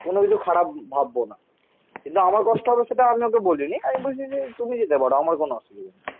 কোন কিছু খারাপ ভাববো না কিন্তু আমার কষ্ট হবে সেটা আমি ওকে বলিনি. আমি বলছি যে তুমি যেতে পারো. আমার কোনো অসুবিধে নেই